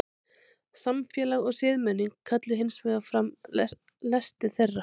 samfélag og siðmenning kalli hins vegar fram lesti þeirra